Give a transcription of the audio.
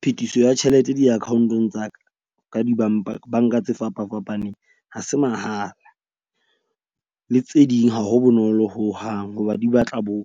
Phetiso ya tjhelete di-account-ong tsa ka di bank-a tse fapafapaneng ha se mahala. Le tse ding ha ho bonolo hohang hoba di batla bo